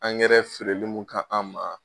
Angɛrɛnin feereli mun k'an ma.